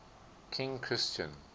king christian